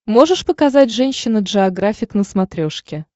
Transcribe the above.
можешь показать женщина джеографик на смотрешке